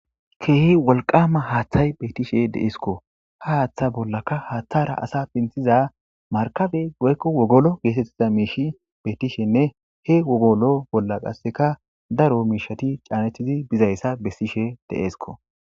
keehi wolqama haaththay beetishe deeeskko ha haaththa bollaka haaththara asa pinthiza markabe goykko wogolo geetettiza miishi beetishenne he wogolo bolla qasseka daro miishati caanethizi bizayssa bessishe deeesko